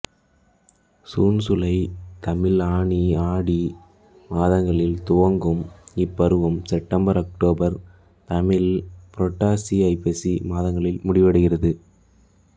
சூன் சூலை தமிழ் ஆனி ஆடி மாதங்களில் துவங்கும் இப்பருவம் செப்டம்பர் அக்டோபர் தமிழ் புரட்டாசி ஐப்பசி மாதங்களில் முடிவடைகிறது